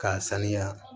K'a sanuya